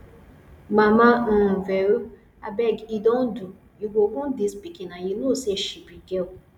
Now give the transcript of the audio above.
mama um vero abeg e don do you go wound dis pikin and you know say she be girl